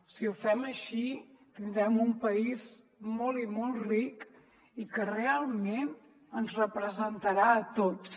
si ho fem així tindrem un país molt i molt ric i que realment ens representarà a tots